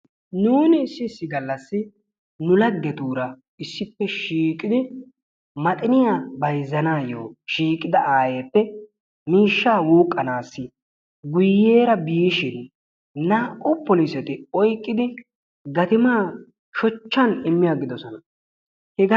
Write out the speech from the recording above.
Nuun issi issi gallassi nu laggeetuura issippe shiiqidi maxiniyaa bayzzanayo shiiqida aayyeppe miishshaa wuuqqanassi guyyeera biishin naa''u polisseti oyqqidi gatimaa shochchaan immi agiddoosona, hegga...